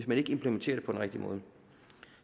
man implementerer det på den rigtige måde